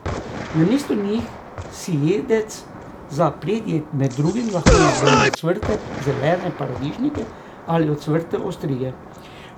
Namesto njih si jedec za predjed med drugim lahko izbere ocvrte zelene paradižnike ali ocvrte ostrige.